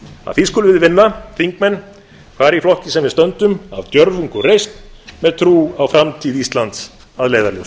að því skulum við vinna þingmenn hvar í flokki sem við stöndum af djörfung og reisn með trú á framtíð íslands að leiðarljósi